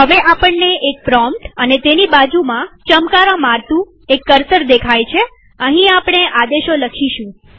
હવે આપણને એક પ્રોમ્પ્ટ અને તેની બાજુમાં ચમકારા મારતું કર્સર દેખાય છેઅહીં આપણે આદેશો લખીશું